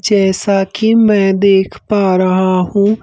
जैसा कि मैं देख पा रहा हूँ ।